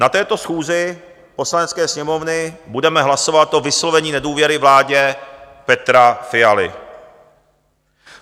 Na této schůzi Poslanecké sněmovny budeme hlasovat o vyslovení nedůvěry vládě Petra Fialy.